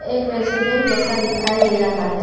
एक रेस्टोरेंट जैसा दिखाई दे रहा है।